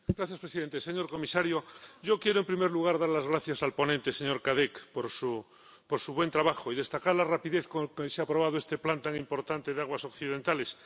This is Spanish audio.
Señor presidente, señor comisario, yo quiero en primer lugar dar las gracias al ponente, señor Cadec, por su buen trabajo, y destacar la rapidez con la que se ha aprobado este plan tan importante de aguas occidentales.